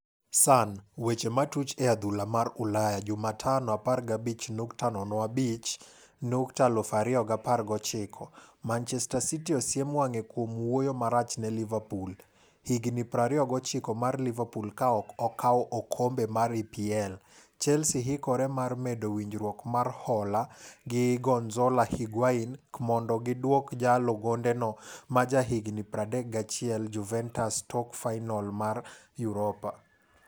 (Sun) Weche matuch e adhula mar Ulaya Jumatano 15.05.2019. Manchester City osiem wang'e kuom wuoyo marach ne Liverpool. Higni 29 mar Liverpool ka ok okaw okombe mar EPL .Chelsea hikore mar medo winjruok mar hola gi Gonzalo Higuain kmondo giduok jalo gonde no maja higni 31 Juventus tok fainol mar Europa.